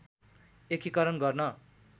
एकीकरण गर्न